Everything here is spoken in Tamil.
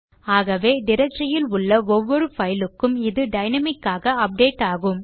ஆகவே directoryஇல் உள்ள ஒவ்வொரு பைலுக்கும் இது டைனாமிக் ஆக அப்டேட் ஆகும்